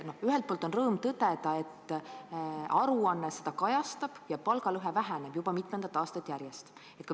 Ühelt poolt on rõõm tõdeda, et aruanne seda kajastab ja et palgalõhe väheneb juba mitmendat aastat järjest.